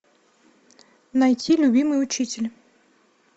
найти любимый учитель